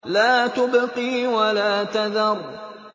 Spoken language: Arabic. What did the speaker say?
لَا تُبْقِي وَلَا تَذَرُ